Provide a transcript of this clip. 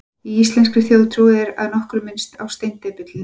Í íslenskri þjóðtrú er að nokkru minnst á steindepilinn.